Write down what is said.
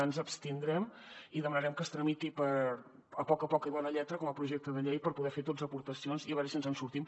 ens abstindrem i demanarem que es tramiti a poc a poc i amb bona lletra com a projecte de llei per poder hi fer tots aportacions i a veure si ens en sortim